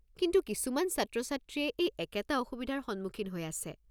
কিন্তু কিছুমান ছাত্ৰ-ছাত্ৰীয়ে এই একেটা অসুবিধাৰ সন্মুখীন হৈ আছে।